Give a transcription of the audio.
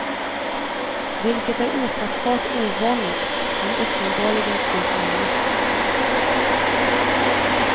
Vilket är ofattbart ovanligt, men uppenbarligen fullt möjligt.